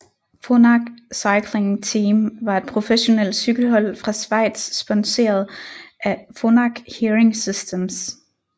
Phonak Cycling Team var et professionelt cykelhold fra Schweiz sponseret af Phonak Hearing Systems